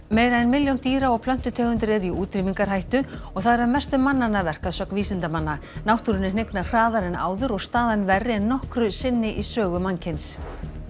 meira en milljón dýra og plöntutegundir eru í útrýmingarhættu og það er að mestu mannanna verk að sögn vísindamanna náttúrunni hnignar hraðar en áður og staðan verri en nokkru sinni í sögu mannkyns